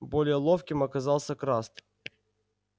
более ловким оказался краст